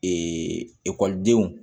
ekɔlidenw